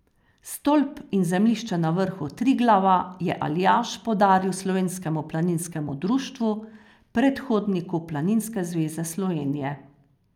Stolp in zemljišče na vrhu Triglava je Aljaž podaril Slovenskemu planinskemu društvu, predhodniku Planinske zveze Slovenije.